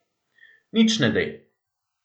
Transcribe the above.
Nič ne de!